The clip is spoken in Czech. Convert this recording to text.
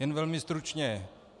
Jen velmi stručně.